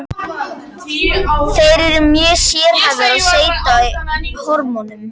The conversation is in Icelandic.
Þær eru mjög sérhæfðar og seyta hormónum.